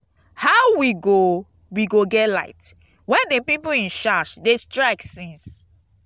how we go we go get light wen the people in charge dey strike since.